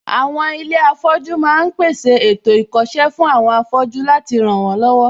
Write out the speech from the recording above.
Àwọn ilé afọ́jú ma ń pèsè ètò ìkọ́ṣẹ́ fún àwọn afọ́jú láti ràn wọ́n lọ́wọ́